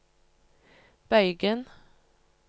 bøygen